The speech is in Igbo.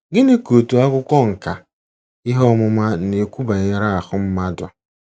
Gịnị ka otu akwụkwọ nkà ihe ọmụma na-ekwu banyere ahụ́ mmadụ?